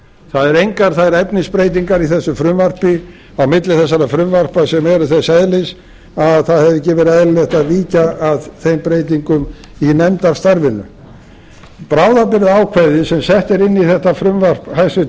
það eru engar þær efnisbreytingar í þessu frumvarpi á milli þessara frumvarpa sem eru þess eðlis að það hefði ekki verið eðlilegt að víkja að þeim breytingum í nefndarstarfinu bráðabirgðaákvæðið sem sett er inn í þetta frumvarp hæstvirts